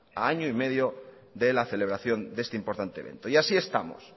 a año y medio de la celebración de este importante evento y así estamos